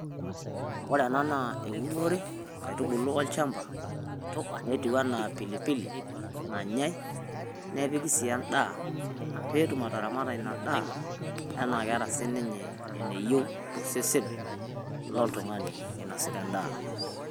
Ore ena naa ounore nkatibulu olchamba netuwuena epilipil nanyai nepiki si endaa pee ataramata ena endaa taana keeta si ninye enayeu te sesen lo iltunga'ani enoisita endaa.